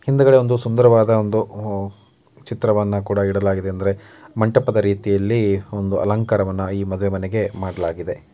ಹಿಂದಗಡೆ ಒಂದು ಸುಂದರವಾದ ಚಿತ್ರವನ್ನು ಕೂಡ ಇಡಲಾಗಿದೆ ಅಂದ್ರೆ ಮಂಟಪದ ರೀತಿಯ ಒಂದು ಅಲಂಕಾರವನ್ನು ಈ ಮದುವೆ ಮನೆಗೆ ಮಾಡಲಾಗಿದೆ.